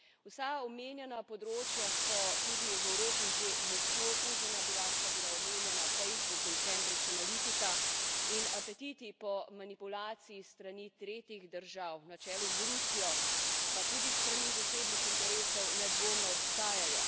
Vsa omenjena področja so tudi v Evropi že močno okužena, bila sta omenjena Facebook in Cambridge Analytica, in apetiti po manipulaciji s strani tretjih držav, na čelu z Rusijo, pa tudi s strani zasebnih interesov nedvomno obstajajo.